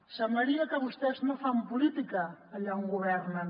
semblaria que vostès no fan política allà on governen